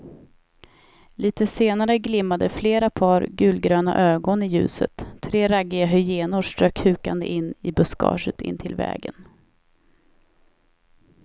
Litet senare glimmade flera par gulgröna ögon i ljuset, tre raggiga hyenor strök hukande in i buskaget intill vägen.